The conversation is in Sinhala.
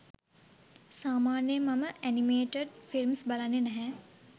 සාමාන්‍යයෙන් මම ඇනිමේටඩ් ෆිල්ම්ස් බලන්නේ නැහැ.